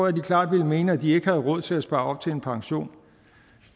at de klart ville mene at de ikke har råd til at spare op til pension